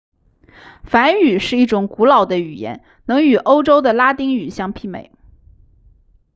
梵语是一种古老的语言能与欧洲的拉丁语相媲美